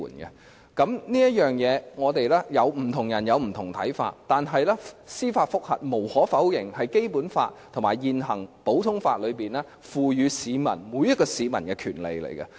就司法覆核來說，不同人有不同的看法，但無可否認，司法覆核是《基本法》和現行普通法賦予每一位市民的權利。